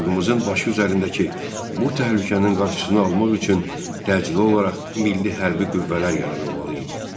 Xalqımızın başı üzərindəki bu təhlükənin qarşısını almaq üçün təcili olaraq milli hərbi qüvvələr yaradılmalı idi.